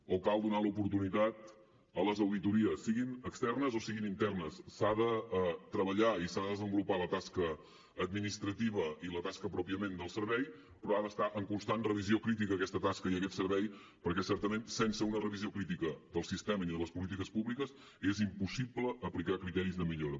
o cal donar l’oportunitat a les auditories siguin externes o siguin internes s’ha de treballar i s’ha de desenvolupar la tasca administrativa i la tasca pròpiament del servei però han d’estar en constant revisió crítica aquesta tasca i aquest servei perquè certament sense una revisió crítica del sistema ni de les polítiques públiques és impossible aplicar criteris de millora